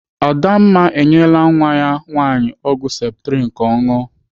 Adamma enyela nwa ya nwaanyị ọgwụ septrin ka ọ ṅụọ.